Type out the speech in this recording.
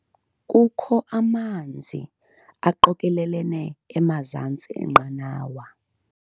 Kukho amanzi aqokelelene emazantsi enqanawa.